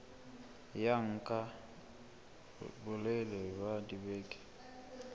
ya nka bolelele ba dibeke